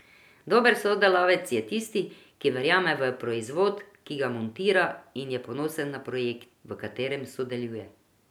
Dober sodelavec je tisti, ki verjame v proizvod, ki ga montira, in je ponosen na projekt, v katerem sodeluje.